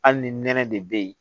Hali ni nɛnɛ de be yen